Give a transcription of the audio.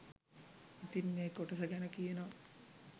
ඉතින් මේ කොටස ගැන කියනවා